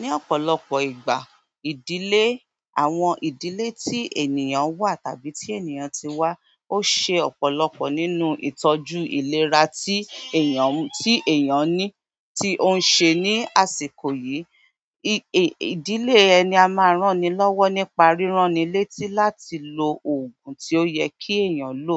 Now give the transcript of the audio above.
Ní ọ̀pọ̀lọpọ̀ ìgbà, ìdílé, àwọn ìdílé tí ènìyàn wà tàbí tí ènìyàn ti wá, ó ṣe ọ̀pọ̀lọpọ̀ nínú ìtọ́jú ìlera tí èeyàn, tí èeyàn ní, tí ó ń ṣe ní àsìkò yìí. Ìdílé ẹni a máa rán ni lọ́wọ́ nípa ríran ni létí láti lo òògùn tí ó yẹ kí eeyàn lò.